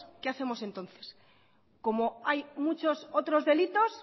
qué hacemos entonces como hay muchos otros delitos